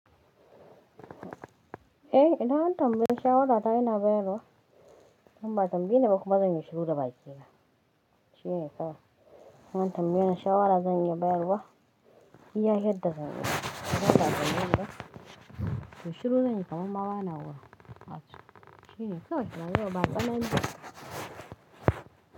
Eh, idan an tambayi shawara ta ina bayarwa, im ba'a tambaye ni ba kuma zan yi shiru da bakina. Shine kawai, in an tambayi ni shawara zan iya bayarwa, iya yadda zan iya, imma ba'a tambayeni ba. To shiru zan yi kamar ma ba na wurin, Shine kawai, rayuwar ba tsanani.